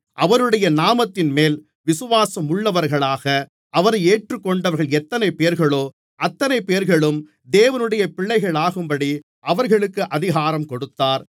அவருடைய நாமத்தின்மேல் விசுவாசம் உள்ளவர்களாக அவரை ஏற்றுக்கொண்டவர்கள் எத்தனை பேர்களோ அத்தனை பேர்களும் தேவனுடைய பிள்ளைகளாகும்படி அவர்களுக்கு அதிகாரம் கொடுத்தார்